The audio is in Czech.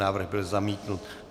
Návrh byl zamítnut.